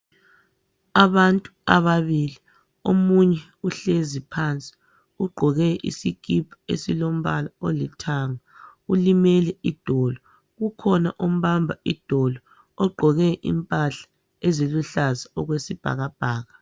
Abantu ababili , omunye uhlezi phansi ugqoke isikipa esilombala olithanga ulimele idolo ukhona ombamba idolo ogqoke impahla eziluhlaza okwesibhakabhaka.